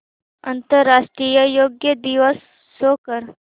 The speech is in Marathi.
आंतरराष्ट्रीय योग दिवस शो कर